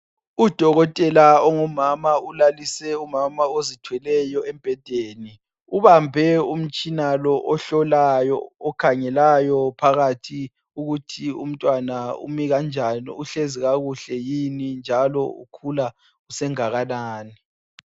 Udokotela ongumama, ulalise umama ozithweleyo embhedeni. Ubambe umtshina lo ohlolayo, okhangelayo phakathi ukuthi umtwana umi kanjani, uhlezi kakuhle yini? Njalo ukhula sengakanani.